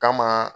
Kama